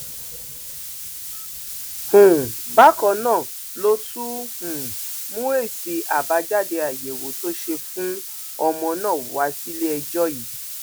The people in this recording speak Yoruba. um bákan náà ló tún um mú èsì àbájáde àyẹwò tó ṣe fún ọmọ náà wá síléẹjọ yìí